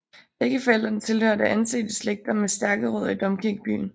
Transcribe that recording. Begge forældrene tilhørte ansete slægter med stærke rødder i domkirkebyen